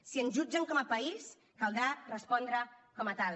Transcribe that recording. si ens jutgen com a país caldrà respondre com a tal